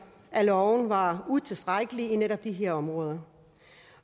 at loven var utilstrækkelig i netop de her områder